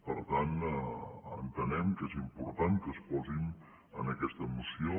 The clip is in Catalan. per tant entenem que és important que es posin en aquesta moció